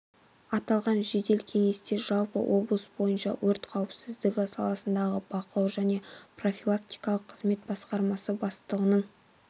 аталған жедел кеңесте жалпы облыс бойынша өрт қауіпсіздігі саласындағы бақылау және профилактикалық қызмет басқармасы бастығының